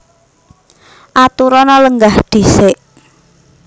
Aturana lenggah dhisik